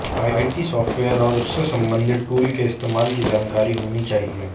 IT software और उससे संबंधित टूल के इस्तेमाल की जानकारी होनी चाहिए